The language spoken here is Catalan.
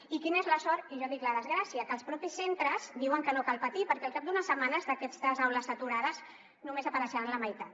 i quina és la sort i jo dic la desgràcia que els propis centres diuen que no cal patir perquè al cap d’unes setmanes d’aquestes aules saturades només n’apareixeran la meitat